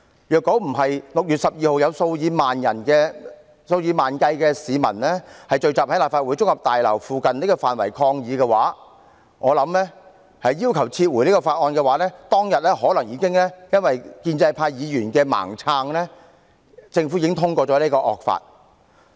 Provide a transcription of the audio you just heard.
如果不是在6月12日有數以萬計市民聚集在立法會綜合大樓附近範圍抗議，要求撤回《條例草案》，我想當天可能因為建制派議員的"盲撐"，政府已經通過了此項惡法。